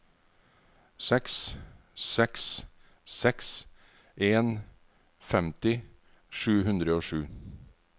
seks seks seks en femti sju hundre og sju